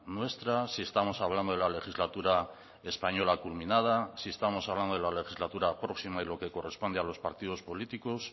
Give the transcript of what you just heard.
nuestra si estamos hablando de la legislatura española culminada si estamos hablando de la legislatura próxima y lo que corresponde a los partidos políticos